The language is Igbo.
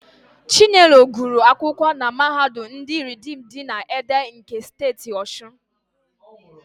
Chinelo gụrụ akwụkwọ na Mahadum ndị Ridiim dị na Ede nke Steeti Ọshụn.